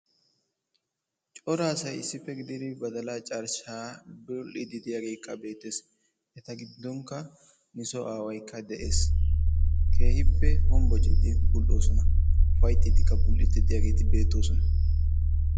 Cora asay issippe giididi badalaa carshshaa bul"iidi de'iyaagee beettees. eta giddonkka nu soo awaaykka de'ees. keehippe honbocciidi bul"oosona. uppayttidikka diyaageti beettoosona.